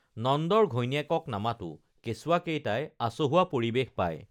নন্দৰ ঘৈণীয়েকক নামাতো কেঁচুৱা কেইটাই আচহুৱা পৰিৱেশ পাই